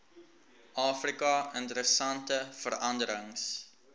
afrika interessante veranderings